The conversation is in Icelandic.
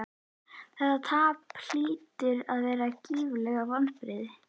Þetta tap hlýtur að vera gífurleg vonbrigði?